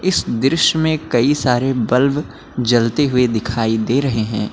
इस दृश्य में कई सारे बल्ब जलते हुए दिखाई दे रहे हैं।